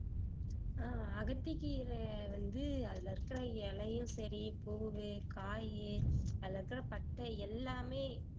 ஆஹ் அகத்திக்கீரை வந்து அதுல இருக்கற இலையும் சரி பூவு, காயி அதுல இருக்கற பட்டை எல்லாமே